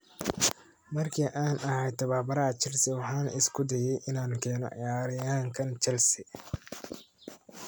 "Markii aan ahaa tababaraha Chelsea, waxaan isku dayay inaan keeno ciyaaryahankan Chelsea."